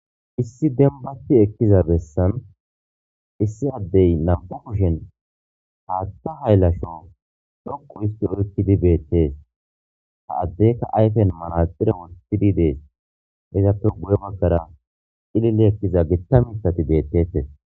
issi denbati ekkiza bessan issi addey nam'u kushen haatta hayllasho dhoqu isti orkkidi beettees ha addeka ayfen manaxire wurtidi dees izappe guye bakkara ilile ekkiza gittamisati beettettes